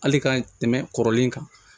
Hali ka tɛmɛ kɔrɔlen kan